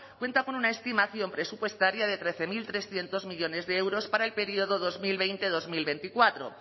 cuenta con una estimación presupuestaria de trece mil trescientos millónes de euros para el periodo dos mil veinte dos mil veinticuatro